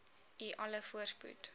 u alle voorspoed